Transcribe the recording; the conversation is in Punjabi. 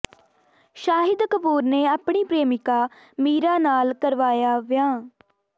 ਸ਼ਾਹਿਦ ਕਪੂਰ ਨੇ ਆਪਣੀ ਪ੍ਰੇਮੀਕਾ ਮੀਰਾ ਨਾਲ ਕਰਾਇਆ ਵਿਆਹ